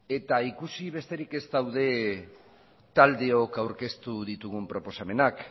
eta ikusi besterik ez dago taldeok aurkeztu ditugun proposamenak